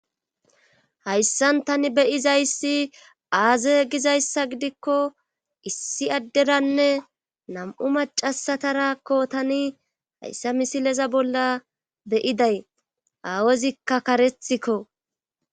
hayssan tani beyizayssi aaze gizayssa gidikko issi adderanne nam7u macasatarakko tani hayssa misileza bolla beyiday aawezikka karethikko.